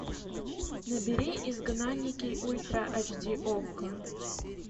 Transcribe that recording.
набери изгнанники ультра эйч ди окко